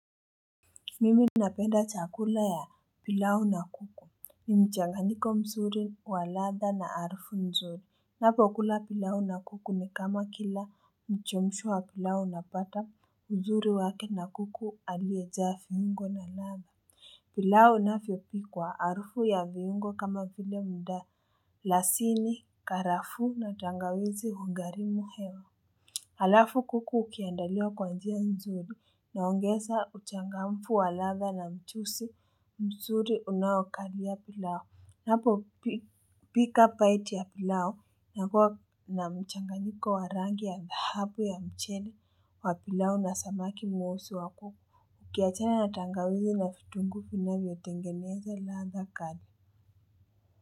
Mimi napenda chakula ya pilau na kuku Nimchanganyiko mzuri wa ladhaa na harufu nzuri ninapo kula pilau na kuku ni kama kila mchemshwa wa pilau napata uzuri wake na kuku aliejaa viungo na ladhaa pilau inavyopikwa arufu ya viungo kama vile mda lasini karafu na tangawizi hugharimu hewa Halafu kuku ukiandaliwa kwa njia mzuri naongeza uchangamfu wa ladha na mchuzi mzuri unaokalia pilau. Napo pika baiti ya pilau kunakuwa na mchanganyiko wa rangi ya dhahabu ya mchele wa pilau na samaki mweusi wa kuku. Ukiachana na tangawizi na vitungu finavyo tengeneza ladha kali.